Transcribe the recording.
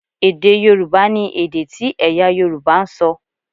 Èdè Yorùbá ni èdè tí ẹ̀yà Yorùbá ń sọ